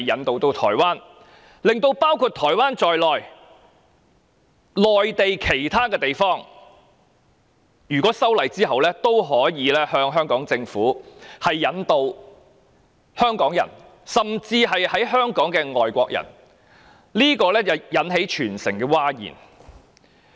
但是，此項建議卻令台灣以至內地其他地方，均可按修訂後的法例向香港政府申請引渡香港人甚至身處香港的外國人，引起全城譁然。